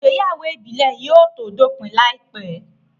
Ìgbéyàwó ìbílẹ̀ yóò tó dópin láìpẹ́